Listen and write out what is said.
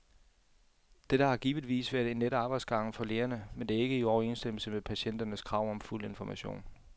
Dette har givetvis været en lettere arbejdsgang for lægerne, men det er ikke i overensstemmelse med patienternes krav om fuld information.